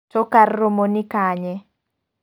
To kar romo ni kanye?